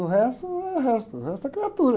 O resto é resto, o resto é criatura.